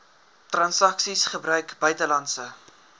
transaksies gebruik buitelandse